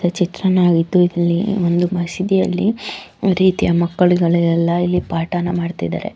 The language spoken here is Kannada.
ಈ ಚಿತ್ರದಲ್ಲಿ ಏನ್ ಒಂದು ಮಸೀದಿಯಲ್ಲಿ ಎಲ್ಲಾ ರೀತಿಯ ಮಕ್ಕಳಿಗಳೆಲ್ಲ ಇಲ್ಲಿ ಪಾಠ ಮಾಡ್ತಾ ಇದ್ದಾರೆ .